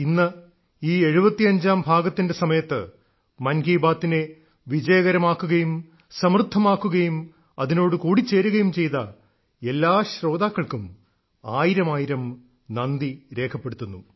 ഇന്ന് ഈ 75ാം ഭാഗത്തിന്റെ സമയത്ത് മൻ കി ബാത്തിനെ വിജയകരമാക്കുകയും സമൃദ്ധമാക്കുകയും അതിനോടു കൂടിച്ചേരുകയും ചെയ്ത എല്ലാ ശ്രോതാക്കൾക്കും ആയിരമായിരം നന്ദി രേഖപ്പെടുത്തുന്നു